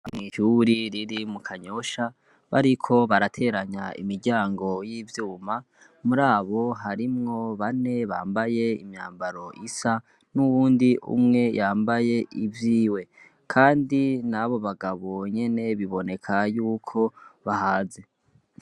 Amw'isuri riri mu kanyosha bariko barateranya imiryango y'ivyuma muri abo harimwo bane bambaye imyambaro isa n'uwundi umwe yambaye ivyiwe, kandi nabo bagabonyene biboneka yuko bahaze.